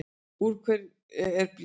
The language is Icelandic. Úr hverju er blý?